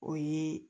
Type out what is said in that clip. O ye